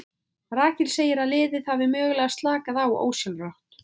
Rakel segir að liðið hafi mögulega slakað á ósjálfrátt.